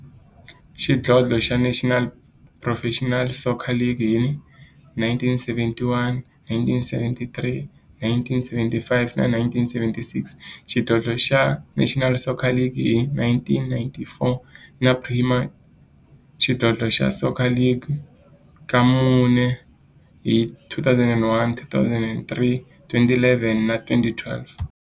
xidlodlo xa National Professional Soccer League hi 1971, 1973, 1975 na 1976, xidlodlo xa National Soccer League hi 1994, na Premier Xidlodlo xa Soccer League ka mune, hi 2001, 2003, 2011 na 2012.